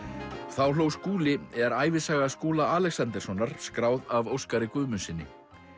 þá hló Skúli er ævisaga Skúla Alexanderssonar skráð af Óskari Guðmundssyni